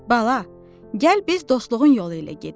Bala, gəl biz dostluğun yolu ilə gedək.